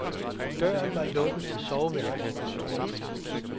Døren var lukket til soveværelset. punktum